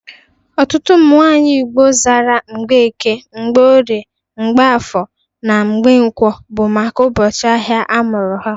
Ọtụtụ ụmụ nwaanyị Igbo zara Mgbeke, Mgbeorie (Mgborie), Mgbafọ, na Mgankwọ bụ maka ụbọchị ahịa a mụrụ ha.